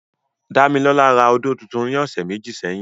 Damilola ra ódó tuntun ni ọsẹ meji sẹhin.